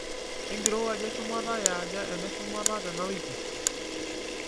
kenkirowuaj eshumataa eaja eneshumata tenawiki